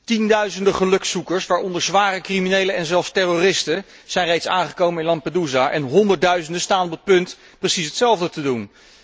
Tienduizenden gelukszoekers, waaronder zware criminelen en zelfs terroristen zijn reeds aangekomen in Lampedusa en honderdduizenden staan op het punt precies hetzelfde te doen.